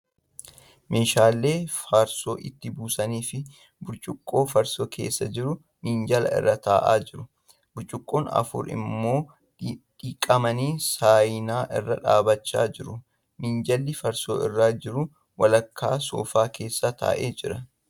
Meeshaan farsoo ittii buusanii fi burcuqqoo farsoon keessa jiru minjaala irra taa'aa jieu. Burcuqqoo afur immoi dhiqamanii saayinaa irra dhaabachaa jiru. Minjaalli farsoon irra jiru walakkaa soofaa keessa taa'ee jira.